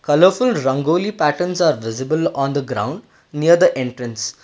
Colorful rangoli patterns are visible on the ground near the entrance.